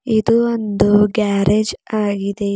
ಇದು ಇಂದು ಗ್ಯಾರೇಜ್ ಆಗಿದೆ ಇದ್--